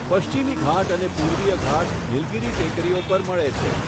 પશ્ચિમી ઘાટ અને પૂર્વીય ઘાટ નીલગીરી ટેકરીઓ પર મળે છે.